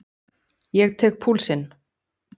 Ég tek púlsinn.